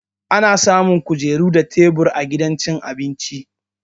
Ana samun kujeru da tebur a gidan cin abinci